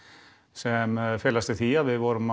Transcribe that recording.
sem felast í því að við vorum